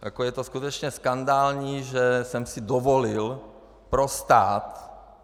Jako je to skutečně skandální, že jsem si dovolil pro stát...